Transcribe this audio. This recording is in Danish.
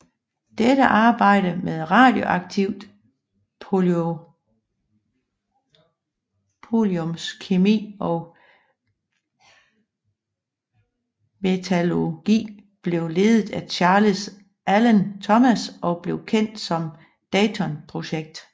Dette arbejde med radioaktivt poloniumskemi og metallurgi blev ledet af Charles Allen Thomas og blev kendt som Dayton Project